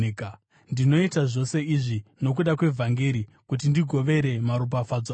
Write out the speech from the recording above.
Ndinoita zvose izvi nokuda kwevhangeri, kuti ndigovere maropafadzo aro.